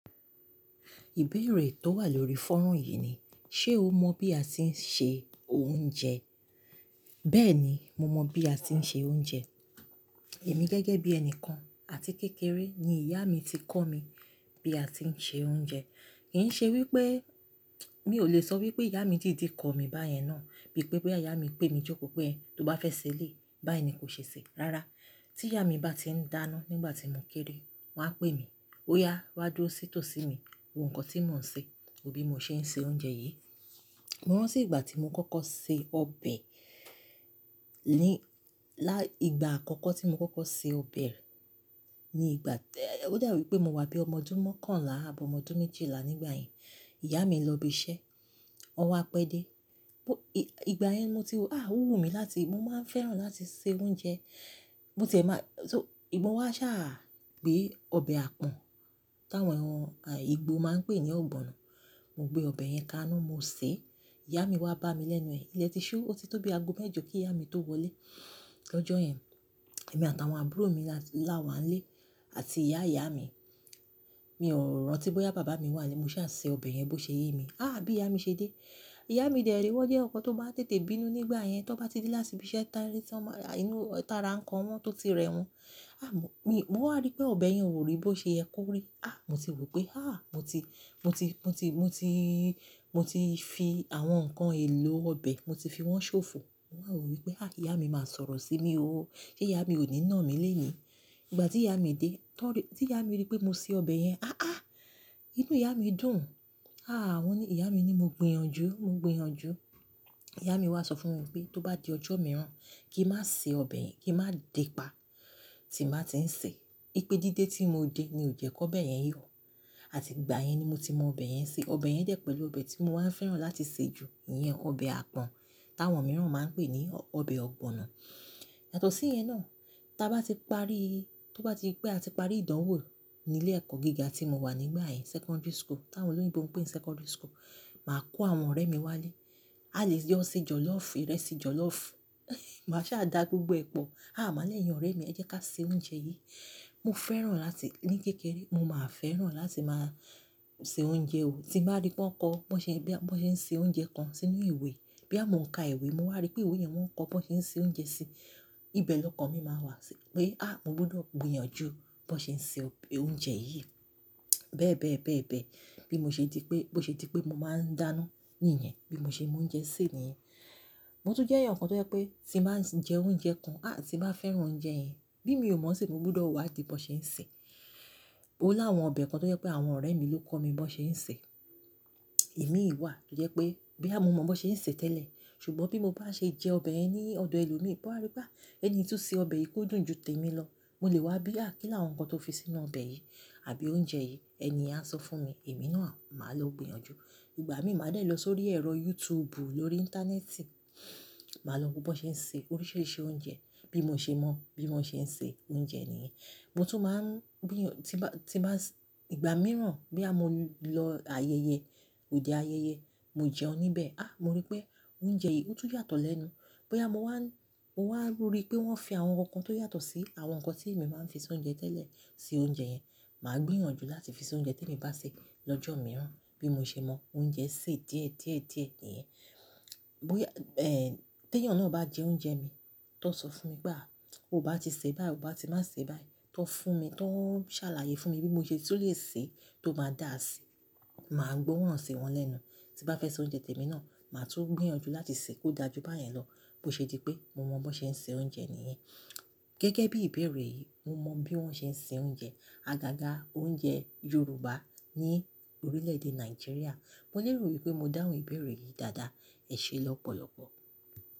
Ìbéèrè tó wà lórí fọ́rùn yìí ni, ṣe o mọ̀ bí a ti ń se oúnjẹ? Bẹ́ẹ̀ni, mo mọ̀ bí a ti ń se oúnjẹ. Èmi gẹ́gẹ́ bí ẹni kan àti kékeré ni ìyá mi ti kọ́ mi bí a ti ń se oúnjẹ. Kì ń ṣe wípé mi ò le sọ wípé ìyá mi dìdí kọ mí báyẹn náà, bíi pé bóyá ìyá mi pè mí jókòó pé, "tó bá fẹ́ ṣe éléyì, báyìí ni kó ṣe sè é." Rárá, tí ìyá mi bá ti ń dáná nígbà tí mò kéré, wón a pè mí, "óyá wá dúró sí tòsí mi, wo nǹkan tí mò ń ṣe, wo bí mo ṣe ń se oúnjẹ yìí." Mo rántí ìgbà tí mo kọ́kọ́ se ọbẹ̀, ní, lá, ìgbà àkọ́kọ́ tí mo kọ́kọ́ se ọbẹ̀, ní ìgbà, ó dà wípé mo wà bí ọmọ ọdún mọ́kànlá àbọ mọ ọdún méjìlá nígbà yẹn. Ìyá mi lọ bi iṣẹ́, ọwa pẹ́dẹ́. Ìgbà yẹn ní mo ti wò, ó wù mí láti, mo máa ń fẹ́ràn láti se oúnjẹ. Mo tẹ̀ma, so-- mo wá ṣà gbé ọbẹ̀ àpọ̀n, táwọn ìgbò máa ń pè ní ọ̀gbọ̀nọ̀. Mo gbé ọbẹ̀ yẹn ka inú, mo sè é. Ìyá mi wá bá mi lẹ́nu ẹ. Ilẹ̀ ti ṣú, ó ti tó bí aago mẹ́jọ kí ìyá mi tó wọlé. L'ọjọ́ yẹn, èmi àtàwọn àbúrò mi láwà nlè àti ìyá ìyá mi. Mi ò rántí bóyá bàbá mi wà Mo ṣà se ọbẹ̀ yẹn bó ṣe ye mi. Áà bí ìyá mi ṣe dé. Ìyá mi dẹ̀ re wọ́n jẹ́ ọ̀kan tó bá tètè bínú nígbà yẹn, tó n bá ti dé láti ibi iṣẹ́ ta ni tí wọ́n máa rà inú tààrà ńkàn wọ́n tó ti rẹ wọ́n. À mo, mi, mo wá rí pé ọbẹ̀ yẹn ò rí bó ṣe ẹ kó rí. À mo ti wo pé, à mo ti, mo ti, mo ti, mo ti, mo ti fi àwọn ǹkan èlò ọbẹ̀, mo ti fi wọ́n ṣòfò. Mo wá wo wípé, à ìyá mi máa sọ̀rọ̀ sí mi ó, se ìyá mi ò ní nà mí léni. Ìgbà tí ìyá mi dé, tọ́ rí, tí ìyá mi rí pé mo se ọbẹ̀ yẹn. "Áàá!" Inú ìyá mi dùn. À wọ́n ni, ìyá mi ni mo gbin yanju, mo gbin yanju. Ìyá mi wá sọ fún mi wípé tó bá di ọjọ́ mìíràn, kí n má se ọbẹ̀ yẹn, kí n má dẹ́ pa, tí màá ti ń sè é. Ní pé dídé tí mo de ni ò jẹ́ kó ọbẹ̀ yẹn yọ. Àti ìgbà yẹn ni mo ti mọ ọbẹ̀ yẹn ṣe. Ọbẹ̀ yẹn dẹ̀ pẹ̀lú ọbẹ̀ tí mo wá ń fẹ́ràn láti ṣe jù, ìyẹn ọbẹ̀ àpọ̀n, táwọn mìíràn máa ń pè ní ọbẹ̀ ọ̀gbọ̀nọ̀. Yàtọ̀ sí yẹn náà, tí a bá ti parí, tó bá ti pé àti parí ìdánwò nílé ẹ̀kọ́ gíga tí mo wà nígbà yẹn, secondary school, táwọn olóyinbo ń pè secondary school, màá kó àwọn ọ̀rẹ́ mi wálé. A lè jo, ṣe jọ̀lọ́ọ̀fù, ìrẹsì jọ̀lọ́ọ̀fù. Màá sa da gbogbo ẹ pọ̀. "À màá lẹ́yìn ọ̀rẹ́ mi, ẹ jẹ́ ká ṣe oúnjẹ yìí." Mo fẹ́ràn láti, ní kékeré, mo máa ń fẹ́ràn láti máa se oúnjẹ ò. Tí n ba rí pé wọ́n kọ, wọ́n ṣe, boya bo ṣe ń se oúnjẹ kan sínú ìwé, bí à mo ń ka ìwé, mo wá rí pé ìwé yẹn wọ́n ń kọ bí wọ́n ṣe ń se oúnjẹ sí, ibẹ̀ lọ́kàn mi máa wà sí pé, "à mo gbọdọ̀ gbin yanju bí wọ́n ṣe ń se ọb-- oúnjẹ yìí." Bẹ́ẹ̀ bẹ́ẹ̀, bẹ́ẹ̀ bẹ́ẹ̀. Bí mo ṣe di pé, bó ṣe di pé mo máa ń dáná níyẹn, bí mo ṣe mo oúnjẹ sè níyẹn. Mo tún jẹ́ ẹ̀yàn kan tó jẹ́ pé tí màá ń jẹ oúnjẹ kan, à tí n ba fẹ́ràn oúnjẹ yẹn, bí mi ò mọ̀ ṣé mo gbọdọ̀ wádi bí wọ́n ṣe ń sè é. Ó láwọn ọbẹ̀ kan tó jẹ́ pé àwọn ọ̀rẹ́ mi ló kọ́ mi bí wọ́n ṣe ń sè é. Imi ìwà tó jẹ́ pé boya mo mọ̀ bí wọ́n ṣe ń sè é tẹ́lẹ̀, ṣùgbọ́n bí mo bá ṣe jẹ ọbẹ̀ ẹ ní ọ̀dọ̀ ẹlòmíì, bá ríi pé ẹni tó se ọbẹ̀ yìí kó dùn ju tèmi lọ, mo lè wá bí à kílàwọn ǹkan tó fi sínú ọbẹ̀ yìí, àbí oúnjẹ yìí, ẹni yẹn á sọ fún mi. Èmi náà màá lọ gbin yanju. Ìgbà mi màá dẹ̀ lọ sórí ẹ̀rọ YouTube lórí ìntánẹ́ẹ̀tì, màá lọ wo bí wọ́n ṣe ń ṣe oríṣiríṣi oúnjẹ, bí mo ṣe mọ̀ bí wọ́n ṣe ń ṣe oúnjẹ nìyẹn. Mo tún máa ń gbì yàn tí ba, tí bá s-- ìgbà mìíràn bí à mo lọ ayẹyẹ, òde ayẹyẹ, mo jẹun níbẹ̀. À mo rí pé oúnjẹ yìí ó tún yàtọ̀ lẹ́nu. Boya mo wá ń, mo wá ń rí i pé wọ́n fi àwọn ǹkan tó yàtọ̀ sí àwọn ǹkan tí èmi máa ń fi ṣe oúnjẹ tẹ́lẹ̀ sí oúnjẹ yẹn, màá gbì yàn ju láti fi ṣe oúnjẹ tí èmi bá ṣe lọ́jọ́ mìíràn bí mo ṣe mọ oúnjẹ sè díẹ̀ díẹ̀ díẹ̀ nìyẹn. Bí è, eh, tí ẹ̀yàn náà bá jẹ oúnjẹ mi, tó ń sọ fún mi pé, "à o bá ti sè é báyi, o bá ti má sè é báyi." Tó ń fún mi, tó ń ṣàlàyé fún mi bí mo ṣe tun lè sè é tó má dà á sí, màá gboran si wọ́n lẹ́nu. Tí n bá fẹ́ ṣe oúnjẹ tèmi náà, màá tún gbìyàn ju láti sè é kó dà jú bá yẹn lọ bó ṣe di pé mo mọ bí wọ́n ṣe ń se oúnjẹ nìyẹn. Gẹ́gẹ́ bí ìbéèrè yìí, mo mọ bí wọ́n ṣe ń se oúnjẹ, àgàgà oúnjẹ Yorùbá ní orílẹ̀ èdè Nàìjíríà. Mo lérò wípé mo dáhùn ìbéèrè yìí dáadáa. Ẹ ṣe lọ́pọ̀lọpọ̀.